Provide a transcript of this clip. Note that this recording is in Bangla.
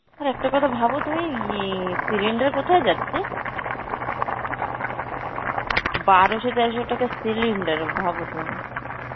আর একটা কথা ভাবো তুমি লি~ cylinder কোথায় যাচ্ছে? বারোশো তেরোশো টাকা cylinder ভাবো তুমি.